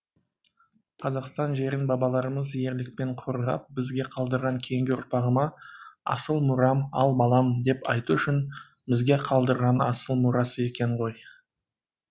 қазақстан жерін бабаларымыз ерлікпен қорғап бізге қалдырған кейінгі ұрпағыма асыл мұрам ал балам деп айту үшін бізге қалдырған асыл мұрасы екен ғой